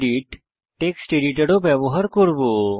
gedit text editor ও ব্যবহার করব